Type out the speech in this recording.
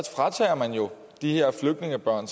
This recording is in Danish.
fratager man jo de her flygtningebørn